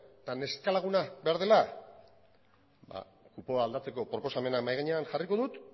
eta neska laguna behar dela ba kupoa aldatzeko proposamena mahai gainean jarriko dut